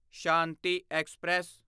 Shanti express